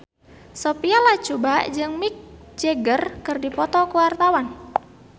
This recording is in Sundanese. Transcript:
Sophia Latjuba jeung Mick Jagger keur dipoto ku wartawan